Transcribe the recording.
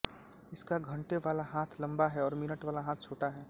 इसका घण्टे वाला हाथ लंबा है और मिनट वाला हाथ छोटा है